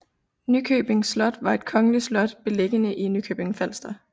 Nykøbing Slot var et kongeligt slot beliggende i Nykøbing Falster